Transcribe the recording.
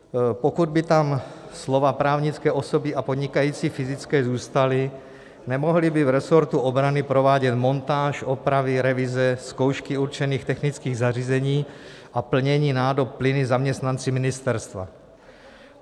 Pokud by tam slova "právnické osoby a podnikající fyzické" zůstala, nemohli by v resortu obrany provádět montáž, opravy, revize, zkoušky určených technických zařízení a plnění nádob plyny zaměstnanci ministerstva.